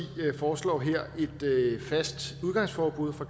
foreslår her et fast udgangsforbud fra